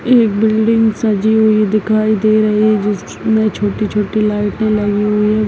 Building सजी हुई दिखाई दे रही है जिसमें छोटी-छोटी लाइट्स लगी हुई हैं।